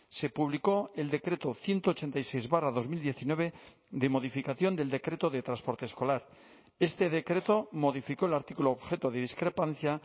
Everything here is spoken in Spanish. se publicó el decreto ciento ochenta y seis barra dos mil diecinueve de modificación del decreto de transporte escolar este decreto modificó el artículo objeto de discrepancia